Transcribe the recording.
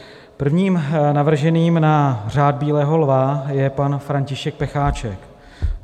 Prvním navrženým na Řád bílého lva je pan František Pecháček.